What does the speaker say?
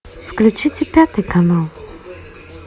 включите пятый канал